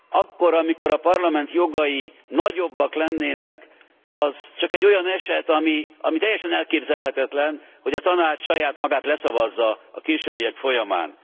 Akkor, amikor a Parlament jogai nagyobbak lennének, az csak egy olyan eset, ami teljesen elképzelhetetlen, hogy a Tanács saját magát leszavazza a későbbiek folyamán.